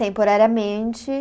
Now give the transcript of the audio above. Temporariamente.